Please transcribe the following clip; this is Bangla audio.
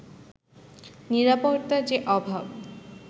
নিরাপত্তার যে অভাব